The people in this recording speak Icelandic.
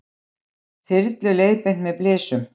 Þyrlu leiðbeint með blysum